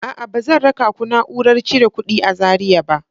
A'a, ba zan raka ku na'urar cire kuɗi a Zariya ba.